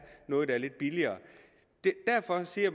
noget der er lidt billigere derfor siger